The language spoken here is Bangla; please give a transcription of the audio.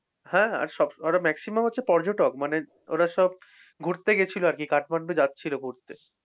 হ্যাঁ আর সবকটা মানে maximum ওরা পর্যটক মানে ওরা সব, ঘুরতে গেছিল আর কি কাঠমান্ডু যাচ্ছিল ঘুরতে